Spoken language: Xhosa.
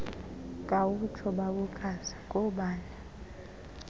khawutsho bawokazi ngoobani